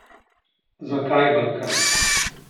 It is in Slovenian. Zakaj Balkan?